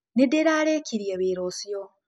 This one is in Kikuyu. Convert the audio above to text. Nĩndĩrarĩkĩrĩe wĩra ũcĩo.